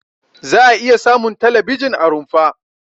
Za'a iya samun talabijin a rumfa.